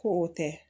Ko o tɛ